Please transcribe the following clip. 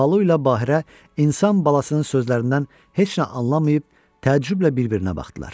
Balu ilə Bahirə insan balasının sözlərindən heç nə anlamayıb təəccüblə bir-birinə baxdılar.